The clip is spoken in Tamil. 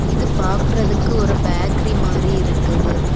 இது பாக்குறதுக்கு ஒரு பேக்கரி மாதிரி இருக்குது.